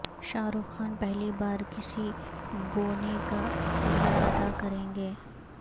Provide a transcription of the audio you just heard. شاہ رخ خان پہلی بار کسی بونے کا کردار ادا کریں گے